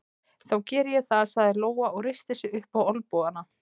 Þá geri ég það, sagði Lóa og reisti sig upp á olnbogana.